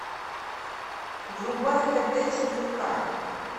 врубай хд четыре ка